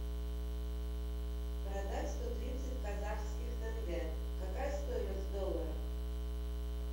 продать сто тридцать казахских тенге какая стоимость в долларах